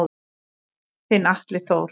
Þinn Atli Þór.